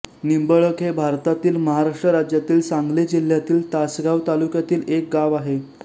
निंबळक हे भारतातील महाराष्ट्र राज्यातील सांगली जिल्ह्यातील तासगांव तालुक्यातील एक गाव आहे